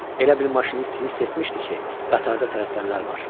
Elə bil maşinist hiss etmişdi ki, qatarda tələsənlər var.